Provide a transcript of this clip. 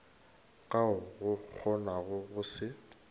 ka o kgonago go se